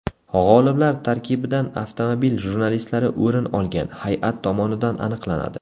G‘oliblar tarkibidan avtomobil jurnalistlari o‘rin olgan hay’at tomonidan aniqlanadi.